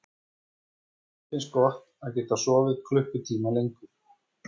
Lillu fannst gott að geta sofið klukkutíma lengur.